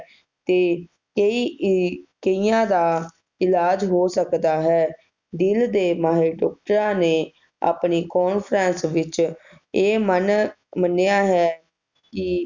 ਤੇ ਕਈ ਇਹ ਕਈਆਂ ਦਾ ਇਲਾਜ਼ ਹੋ ਸਕਦਾ ਹੈ ਦਿਲ ਦੇ ਮਾਹਿਰ ਡਾਕਟਰਾਂ ਨੇ ਆਪਣੀ Conference ਵਿਚ ਇਹ ਮੰਨ ਮੰਨਿਆ ਹੈ ਕਿ